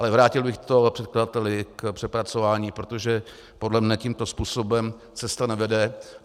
Ale vrátil bych to předkladateli k přepracování, protože podle mě tímto způsobem cesta nevede.